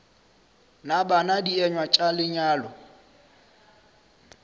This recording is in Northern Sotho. na bana dienywa tša lenyalo